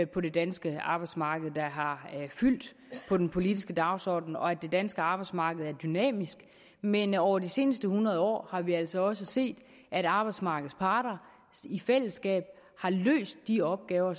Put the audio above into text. på det danske arbejdsmarked der har fyldt på den politiske dagsorden og at det danske arbejdsmarked er dynamisk men over de seneste hundrede år har vi altså også set at arbejdsmarkedets parter i fællesskab har løst de opgaver